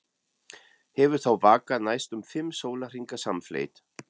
Hefur þá vakað næstum fimm sólarhringa samfleytt.